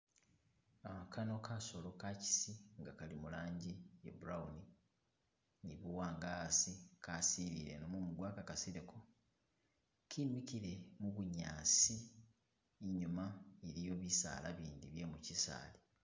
Uh Kano kasolo ka'kisi ngakhali muranjii ya'brown ni' buwanga asi kaasile ino' mumbwa kakasileko kemikile mubunyasi inyuma iliyo bisala bindii byemukyisaali